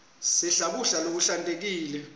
sidle kudla lokuhlantekile